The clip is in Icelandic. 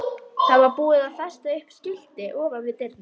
Það var búið að festa upp skilti ofan við dyrnar.